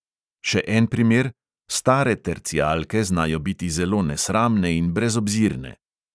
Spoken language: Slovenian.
Še en primer: stare tercijalke znajo biti zelo nesramne in brezobzirne.